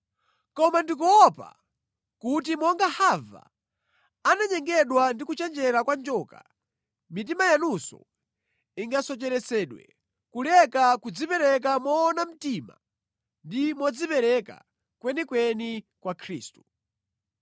Koma ndikuopa kuti monga Hava ananyengedwa ndi kuchenjera kwa njoka, mitima yanunso ingasocheretsedwe kuleka nʼkudzipereka moona mtima ndi modzipereka kwenikweni kwa Khristu.